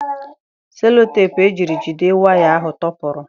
Seloteepụ e jiri jide waya ahụ tọpụrụ.